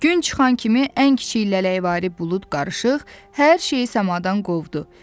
Gün çıxan kimi ən kiçik lələyvari bulud qarışıq, hər şeyi səmada qovdu.